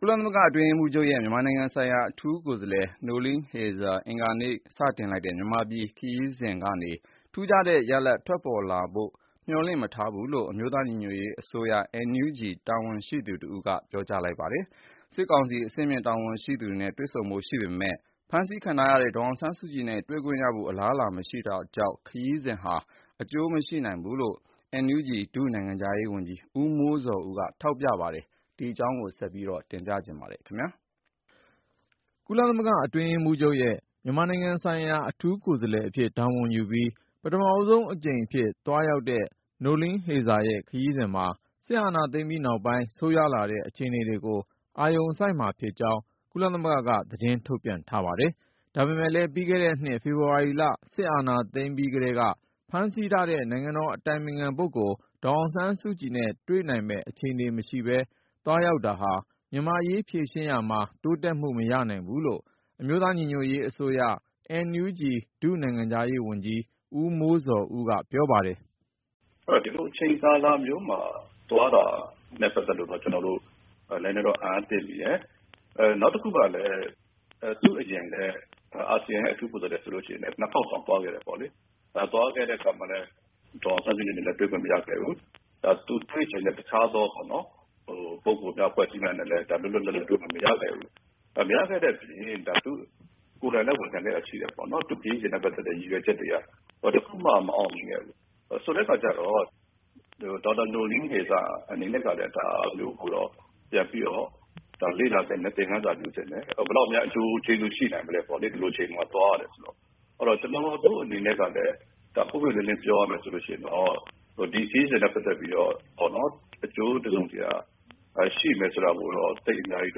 ကုလသမဂ္ဂ အတွင်းရေးမှူးချုပ်ရဲ့ မြန်မာနိုင်ငံဆိုင်ရာ အထူးကိုယ်စားလှယ် Noeleen Heyzer အင်္ဂါနေ့က စတင်လိုက်တဲ့ မြန်မာပြည်ခရီးစဉ်ကနေ ထူးခြားတဲ့ ရလဒ်ထွက်ပေါ်လာဖို့ မျှော်လင့် မထားဘူးလို့ အမျိုးသားညီညွတ်ရေးအစိုးရ NUG တာဝန်ရှိသူတဦးက ပြောကြားလိုက်ပါတယ်။ စစ်ကောင်စီ အဆင့်မြင့် တာဝန်ရှိသူတွေနဲ့ တွေ့ဆုံဖို့ ရှိနေပေမဲ့ ဖမ်းဆီးခံထားရတဲ့ ဒေါ်အောင်ဆန်းစုကြည်နဲ့ တွေ့ခွင့်ရဖို့ အလားအလာ မရှိတာကြောင့် ခရီးစဉ်ဟာ အကျိုးမရှိနိုင်ဘူးလို့လည်း NUG ဒု-နိုင်ငံခြားရေးဝန်ကြီး ဦးမိုးဇော်ဦးက ထောက်ပြပါတယ်။ ကိုဉာဏ်ဝင်းအောင်က စုစည်းတင်ပြထားပါတယ်။ ကုလသမဂ္ဂအတွင်းရေးမှူးချုပ်ရဲ့ မြန်မာနိုင်ငံဆိုင်ရာ အထူးကိုယ်စားလှယ်အဖြစ် တာဝန်ယူပြီး ပထမဆုံးအကြိမ်အဖြစ် သွားတဲ့ခရီးစဉ်မှာ စစ်အာဏာသိမ်းပြီးနောက်ပိုင်း ဆိုးရွားလာတဲ့ အခြေအနေတွေကို အာရုံစိုက်မှာဖြစ်ကြောင်းလည်း ကုလသမဂ္ဂက သတင်းထုတ်ပြန်ထားပါတယ်။ ဒါပေမဲ့လည်း ပြီးခဲ့တဲ့နှစ် ဖေဖော်ဝါရီလ စစ်အာဏာသိမ်းပြီး ကတည်းက ဖမ်းဆီးထားတဲ့ နိုင်ငံတော် အတိုင်ပင်ခံပုဂ္ဂိုလ် ဒေါ်အောင်ဆန်းစုကြည်နဲ့ တွေ့နိုင်မယ့် အခြေအနေ မရှိဘဲ သွားရောက်တာဟာ မြန်မာ့အရေး ဖြေရှင်းရာမှာ တိုးတက်မှု မရနိုင်ဘူးလို့ အမျိုးသား ညီညွတ်ရေးအစိုးရ NUG ဒု-နိုင်ငံခြားရေးဝန်ကြီး ဦးမိုးဇော်ဦးက ပြောပါတယ်။ “ ဒီလို အချိန်ကာလမျိုးမှာ သွားတာနဲ့ ပတ်သက်လို့ ကျနော်တို့ နည်းနည်းတော့ အံ့အားသင့်မိတယ်။ နောက်တခုက သူ့အရင် အာဆီယံရဲ့ အထူးကိုယ်စားလှယ် ဆိုရင်လည်း ၂ ခေါက်တောင် သွားခဲ့တာပဲ။ သွားတဲ့အခါ ဒေါ်အောင်ဆန်းစုကြည်နဲ့ တွေ့ခွင့် မရခဲ့ဘူး။ နောက် သူတွေ့ချင်တဲ့ အခြားသော လူပုဂ္ဂိုလ် အဖွဲ့အစည်းတွေနဲ့လည်း လွတ်လွတ်လပ်လပ် တွေ့ခွင့် မရခဲ့ဘူး။ မရခဲ့တဲ့အပြင် သူကိုယ်တိုင်လည်း ဝန်ခံခဲ့တာရှိတယ်.. သူ့ခရီးစဉ် ရည်ရွယ်ချက်တွေက ဘာတခုမှ မအောင်မြင်ခဲ့ဘူး။ ဆိုတော့ ဒေါက်တာ နိုလိင်းဟေဇာ အနေနဲ့ကလည်း ဒါကို ပြန်လေ့လာသင့်တယ်၊ သင်ခန်းစာယူသင့်တယ်။ ဒီလို အချိန်မှာ သွားတယ်ဆိုတော့ ဘယ်လောက်များ အကျိုးကျေးဇူး ရှိနိုင်မလဲပေါ့လေ။ ကျနော်တို့ အနေနဲ့ ပွင့်ပွင့်လင်းလင်း ပြောရရင် ဒီခရီးစဉ်နဲ့ ပတ်သက်ပြီးတော့ အကျိုးတစုံတရာ ရှိမယ်ဆိုတာကို သိပ်အများကြီး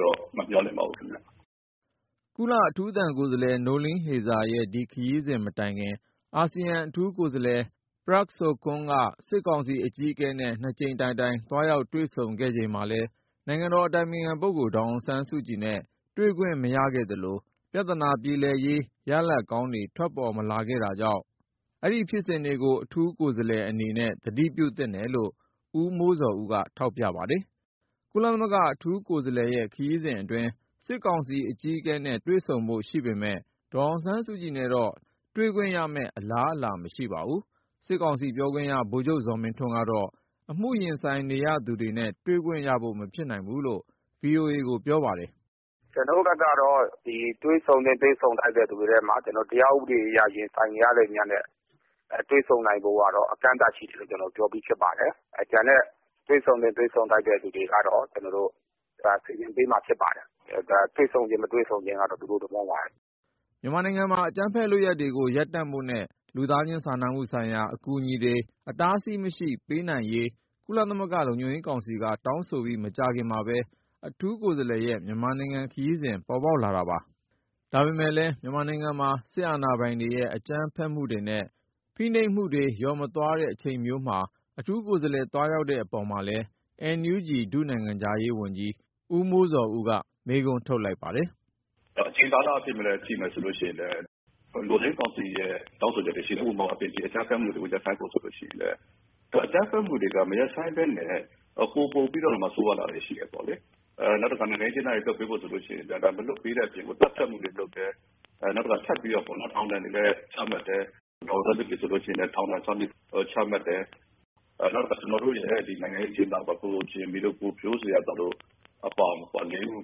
တော့ မမျှော်လင့်ပါဘူး။ ” ကုလ အထူးသံကိုယ်စားလှယ် Noeleen Heyzer ရဲ့ ဒီခရီးစဉ်မတိုင်ခင် ၊ အာဆီယံ အထူးကိုယ်စားလှယ် Prak Sokhonn က စစ်ကောင်စီ အကြီးအကဲနဲ့ (၂)ကြိမ်တိုင်တိုင် သွားရောက်တွေ့ဆုံခဲ့ချိန်မှာလည်း နိုင်ငံတော်အတိုင်ပင်ခံပုဂ္ဂိုလ် ဒေါ်အောင်ဆန်းစုကြည်နဲ့ တွေ့ခွင့် မရခဲ့သလို ၊ ပြဿနာပြေလည်ရေး ရလဒ်ကောင်းတွေ ထွက်ပေါ်မလာခဲ့တာကြောင့် အဲဒီဖြစ်စဉ်တွေကို အထူးကိုယ်စားလှယ် အနေနဲ့ သတိပြုသင့်တယ်လို့ ဦးမိုးဇော်ဦးက ထောက်ပြပါတယ်။ ကုလသမဂ္ဂ အထူးကိုယ်စားလှယ်ရဲ့ ခရီးစဉ်အတွင်း စစ်ကောင်စီအကြီးအကဲနဲ့ တွေ့ဆုံဖို့ရှိပေမယ့် ဒေါ်အောင်ဆန်းစုကြည်နဲ့တော့ တွေ့ခွင့်ရမယ့် အလားအလာ မရှိပါဘူး။ စစ်ကောင်စီ ပြောခွင့်ရ ဗိုလ်ချုပ် ဇော်မင်းထွန်းကတော့ အမှုရင်ဆိုင်နေရသူတွေနဲ့ တွေ့ခွင့်ရဖို့ မဖြစ်နိုင်ဘူးလို့ VOA ကို ပြောပါတယ်။ “ ကျနော်တို့ဘက်ကတော့ တွေ့ဆုံသင့် တွေ့ဆုံထိုက်တဲ့သူတွေထဲမှာ တရားဥပဒေအရ ရင်ဆိုင်နေရတဲ့သူများနဲ့ တွေ့ဆုံနိုင်ဖို့ကတော့ အကန့်အသတ်ရှိတယ်လို့ ပြောပြီးဖြစ်ပါတယ်။ ကျန်တဲ့ တွေ့ဆုံသင့် တွေ့ဆုံထိုက်တဲ့သူတွေကတော့ စီစဉ်ပေးမှာဖြစ်ပါတယ်။ တွေ့ဆုံခြင်း မတွေ့ဆုံခြင်းကတော့ သူတို့ သဘောပါပဲဗျ။ ” မြန်မာနိုင်ငံမှာ အကြမ်းဖက် လုပ်ရပ်တွေကို ရပ်တန့်ဖို့နဲ့ လူသားချင်းစာနာမှုဆိုင်ရာ အကူအညီတွေ အတားအဆီးမရှိ ပေးအပ်နိုင်ရေး ကုလသမဂ္ဂလုံခြုံရေးကောင်စီက တောင်းဆိုပြီး မကြာခင်မှာပဲ အထူးကိုယ်စားလှယ်ရဲ့ မြန်မာနိုင်ငံခရီးစဉ် ပေါ်ပေါက်လာတာပါ။ ဒါပေမဲ့လည်း မြန်မာနိုင်ငံမှာ စစ်အာဏာပိုင်တွေရဲ့ အကြမ်းဖက်မှုတွေနဲ့ ဖိနှိပ်မှုတွေ လျော့မသွားတဲ့ အချိန်မျိုးမှာ အထူးကိုယ်စားလှယ် သွားရောက်တဲ့အပေါ်မှာလည်း NUG ဒု-နိုင်ငံခြားရေးဝန်ကြီး ဦးမိုးဇော်ဦးက မေးခွန်းထုတ်ခဲ့တာပါ။ “ အချိန်ကာလအားဖြင့် ကြည့်မယ်ဆိုရင်လည်း လုံခြုံရေးကောင်စီရဲ့ တောင်းဆိုချက်တွ ရှိတယ်။ ဥပမာ - အကြမ်းဖက်မှုတွေ ရပ်ဆိုင်းဖို့ ပြောထားတာ ဆိုရင်လည်း အကြမ်းဖက်မှုတွေက မရပ်ဆိုင်းပဲနဲ့ ပိုပိုပြီးတော့မှ ဆိုးဝါးလာတာတွေ ရှိတယ်ပေါ့။ နောက်တခါ နိုင်ငံရေးအကျဉ်းသားတွေ လွှတ်ပေးဖို့ကိစ္စဆိုရင်လည်း မလွှတ်ပေးတဲ့အပြင်ကို သတ်ဖြတ်မှုတွေပါ လုပ်တယ်။ ထပ်ပြီးတော့ပေါ့ ထောင်ဒဏ်တွေလည်း ချမှတ်တယ်၊ ဒေါ်အောင်ဆန်းစုကြည်ဆိုရင်လည်း ထောင်ဒဏ်(၆)နှစ် ထပ်ချတယ်။ နောက်တခါ ကျနော်တို့ရဲ့ နိုင်ငံရေးအကျဉ်းသားပေါ့.. ကိုဂျင်မီတို့ ကိုဖြိုးဇေယျာသော်တို့ အပါအဝင် ၄ ဦး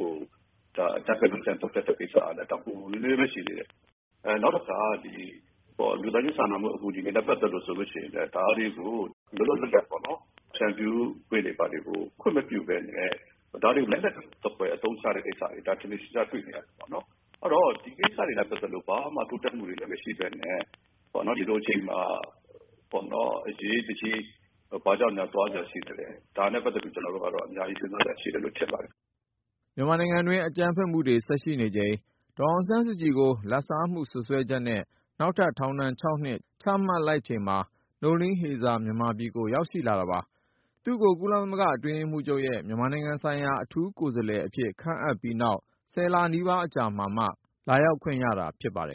ကို အကြမ်းဖက်လုပ်ကြံ သတ်ဖြတ်လိုက်တဲ့ ကိစ္စကလည်း ဒါ ပူပူနွေးနွေးပဲ ရှိသေးတယ်။ နောက်တခါ လူသားချင်းစာနာတဲ့ အကူအညီတွေနဲ့ ပတ်သက်လို့ ဆိုရင်လည်း ဒါတွေကို လွတ်လွတ်လပ်လပ်ပေါ့ ဖြန့်ဖြူးခွင့်တွေ ဘာတွေကို ခွင့်မပြုပဲနဲ့ ၊ အဲဒါတွေကို လက်နက်သဖွယ် အသုံးချနေတဲ့ကိစ္စတွေက ထင်ထင်ရှားရှား တွေ့နေရတယ်ပေါ့နော်။ အဲဒီတော့ ဒီကိစ္စတွေနဲ့ ပတ်သက်လို့ ဘာမှ တိုးတက်မှု မရှိပဲနဲ့ ဒီလိုအချိန်မှာ အရေးတကြီး ဘာကြောင့်များ သွားစရာရှိသလဲ။ ဒါနဲ့ပတ်သက်ပြီး ကျနော်တို့က အများကြီး စဉ်းစားစရာရှိတယ်လို့ ထင်ပါတယ်။ ” မြန်မာနိုင်ငံတွင်း အကြမ်းဖက်မှုတွေ ဆက်ရှိနေချိန်၊ ဒေါ်အောင်ဆန်းစုကြည်ကို လဘ်စားမှု စွပ်စွဲချက်နဲ့ နောက်ထပ် ထောင်ဒဏ်(၆)နှစ် ချမှတ်လိုက်ချိန်မှာ Noeleen Heyzer မြန်မာပြည် ရောက်ရှိလာတာပါ။ သူ့ကို ကုလသမဂ္ဂအတွင်းရေးမှူးချုပ်ရဲ့ မြန်မာနိုင်ငံဆိုင်ရာ အထူးကိုယ်စားလှယ်အဖြစ် ခန့်အပ်ခဲ့ပြီးနောက် (၁၀)လနီးပါးအကြာမှာမှာ လာရောက်ခွင့် ရတာဖြစ်ပါတယ်